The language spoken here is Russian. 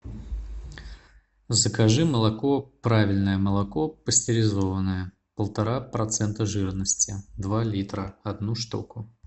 закажи молоко правильное молоко пастеризованное полтора процента жирности два литра одну штуку